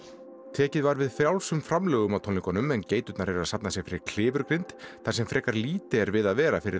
tekið var við frjálsum framlögum á tónleikunum en geiturnar eru að safna sér fyrir klifurgrind þar sem frekar lítið við að vera fyrir